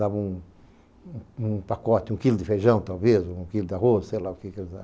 Dava um um um pacote, um quilo de feijão, talvez, ou um quilo de arroz, sei lá o que eles davam.